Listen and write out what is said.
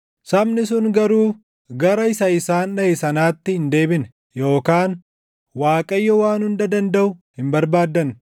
Sabni sun garuu gara isa isaan dhaʼe sanaatti hin deebine yookaan Waaqayyoo Waan Hunda Dandaʼu hin barbaaddanne.